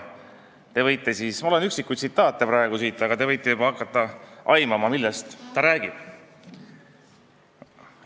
Mul on siin üksikud tsitaadid, aga te võite aimata, millest ta räägib.